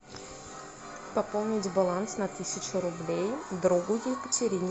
пополнить баланс на тысячу рублей другу екатерине